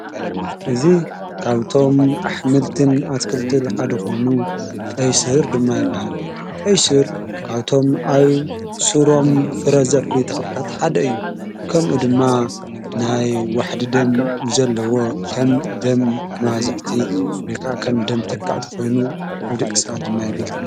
እዚ ካብቶም ኣኅምልትን ኣትክልትል ሓዲ ኾይኑ ቀይሱር ድማ ይበሃል ቀይሱር ካብቶም ኣብ ሱሮም ፍረዘፍሪ ተኽልታት ሓደ እዩ ከምኡ ድማ ናይ ዋሕዲ ደም ዘለዎ ኸም ደም መባዝሕቲ ወይ ኸም ደም ተካእቲ ኾይኑ ኣብዲ ቕሳት ድማ የገልግል።